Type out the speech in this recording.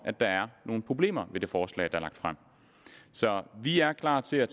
at der er nogle problemer med det forslag der er frem så vi er klar til at